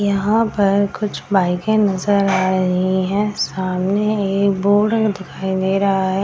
यहाँ पर कुछ बाइके नजर आ रही है सामने एक बोर्ड दिखाई दे रहा है।